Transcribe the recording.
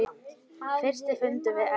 Fyrsti fundur við Eddu.